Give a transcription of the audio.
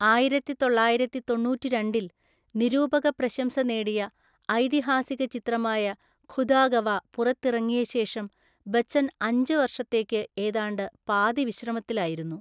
ആയിരത്തിതൊള്ളായിരത്തി തൊണ്ണൂറ്റിരണ്ടിൽ നിരൂപകപ്രശംസ നേടിയ ഐതിഹാസികചിത്രമായ ഖുദാ ഗവാ പുറത്തിറങ്ങിയശേഷം ബച്ചൻ അഞ്ച് വർഷത്തേക്ക് ഏതാണ്ട് പാതിവിശ്രമത്തിലായിരുന്നു.